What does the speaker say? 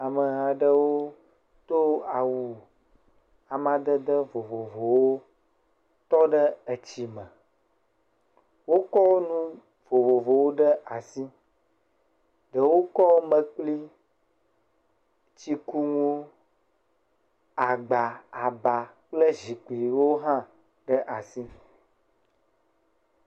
Ameha aɖewo kɔ awu amadede vovowo tɔ ɖe etsi me. Wokɔ enu vovovowo ɖe asi. Ɖewo kɔ mekpli, tsikunuwo, agba, aba kple zikpuiwo hã ɖe asi.